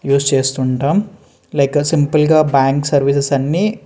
use చేస్తుంటాం like simple గా bank services అన్నీ --